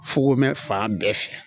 Fugomɛn fan bɛɛ fɛ